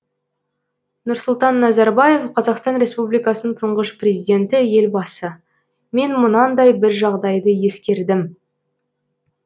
нұрсұлтан назарбаев қазақстан республикасының тұңғыш президенті елбасы мен мынандай бір жағдайды ескердім